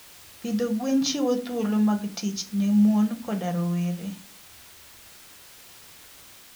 pidho gwen chiwo thuolo mag tich ne mon koda rowere.